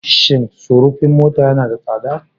Shin sufurin mota yana da tsada?